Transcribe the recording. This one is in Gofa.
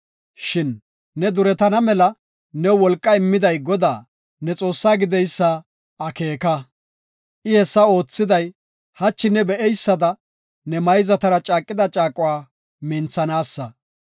Shin ne duretana mela new wolqa immiday Godaa, ne Xoossaa gideysa akeeka. I hessa oothiday, hachi ne be7eysada, ne mayzatara caaqida caaquwa minthanaasa.